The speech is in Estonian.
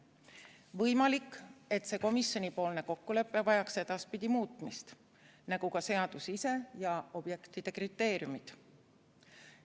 Võimalik, et see komisjoni kokkulepe vajaks edaspidi muutmist, nagu ka seadus ise ja objektide kriteeriumid.